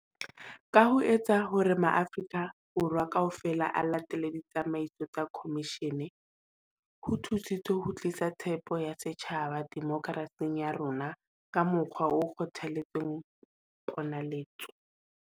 Ka ho etsa hore maAfri-ka Borwa kaofela a latele ditsamaiso tsa khomishene, ho thusitse ho tlisa tshepo ya setjhaba demokerasing ya rona ka mokgwa o kgothaletsang ponaletso.